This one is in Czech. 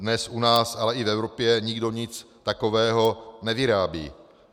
Dnes u nás, ale i v Evropě nikdo nic takového nevyrábí.